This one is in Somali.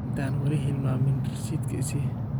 Intan wali xilmamin risitka isii.